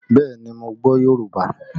Bẹẹ ni, mo gbọ́ Yorùbá